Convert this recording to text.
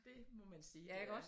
Det må man sige